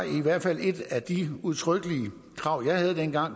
i hvert fald et af de udtrykkelige krav jeg havde dengang